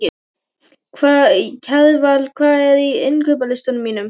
Kjarval, hvað er á innkaupalistanum mínum?